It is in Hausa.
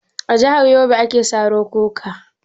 A jahar yobe ake saro kuka?